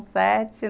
Um sete